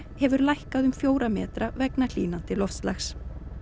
hefur lækkað um fjóra metra vegna hlýnandi loftslags